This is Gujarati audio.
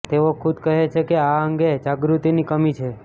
તેઓ ખુદ કહે છે કે આ અંગે જાગૃતિની કમી છે